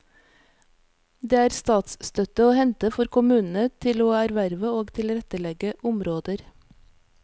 Det er statsstøtte å hente for kommunene til å erverve og tilrettlegge områder.